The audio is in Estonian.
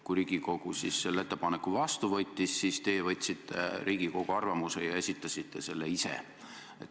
Kui Riigikogu selle ettepaneku vastu võttis, siis teie võtsite Riigikogu arvamuse ja esitasite selle ise.